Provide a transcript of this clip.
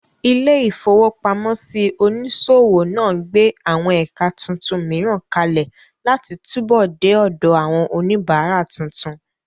Ilé-ìfowópamọ́sí onísòwò náà gbé àwọn ẹ̀ka tuntun mìíràn kalẹ̀ láti túbọ̀ dé ọ̀dọ̀ àwọn oníbàárà tuntun